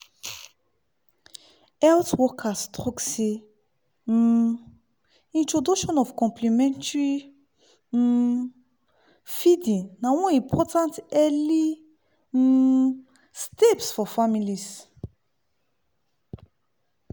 health workers talk seh um introduction of complementary um feeding na one important early um steps for families